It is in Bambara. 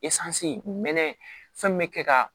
fɛn min bɛ kɛ ka